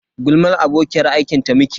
Gulmar abokiyar aiki ta muke yi.